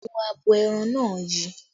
Awọ abo ẹran náà yi